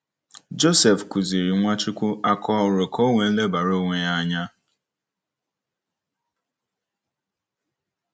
Joseph kuziri Nwachukwu aka oru ka o wee lebara onwe ya anya.